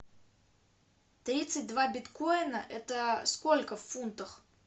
тридцать два биткоина это сколько в фунтах